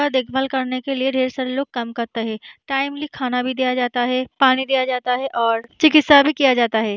देखभाल करने के लिए ढ़ेर सारे लोग काम करता हैं। टाइमली खाना भी दिया जाता है पानी दिया जाता है और चिकित्सा भी किया जाता है।